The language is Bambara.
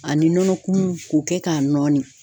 Ani nɔnɔkumun ko kɛ k'a nɔɔni.